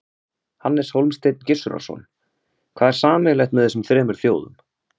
Hannes Hólmsteinn Gissurarson: Hvað er sameiginlegt með þessum þremur þjóðum?